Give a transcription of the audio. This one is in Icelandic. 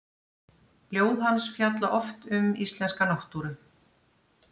Ljóð hans fjalla oft um íslenska náttúru.